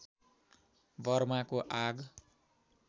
वर्माको आग